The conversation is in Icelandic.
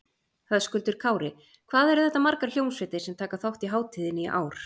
Höskuldur Kári: Hvað eru þetta margar hljómsveitir sem taka þátt í hátíðinni í ár?